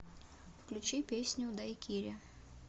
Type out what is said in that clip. включи песню дайкири